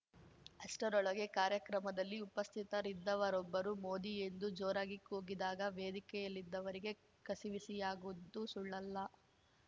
ಅಷ್ಟರೊಳಗೆ ಕಾರ್ಯಕ್ರಮದಲ್ಲಿ ಉಪಸ್ಥಿತರಿದ್ದವರೊಬ್ಬರು ಮೋದಿ ಎಂದು ಜೋರಾಗಿ ಕೂಗಿದಾಗ ವೇದಿಕೆಯಲ್ಲಿದ್ದವರಿಗೆ ಕಸಿವಿಸಿಯಾಗಿದ್ದು ಸುಳ್ಳಲ್ಲ